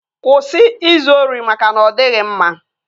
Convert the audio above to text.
Kwụsị izu ori maka na ọ dịghị mma!